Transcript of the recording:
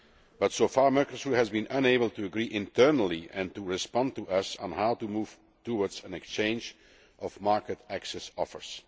But so far Mercosur has been unable to agree internally and to respond to us on how to move towards an exchange of market access offers.